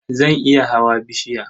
Zan iya hawa bishiya.